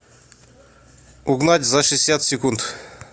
угнать за шестьдесят секунд